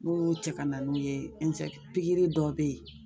U b'olu cɛ ka na n'u ye pikiri dɔw be yen